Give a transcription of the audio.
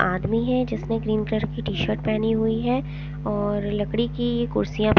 आदमी है जिसने ग्रीन कलर की टी शर्ट पहनी हुई है और लकड़ी की कुर्सियां--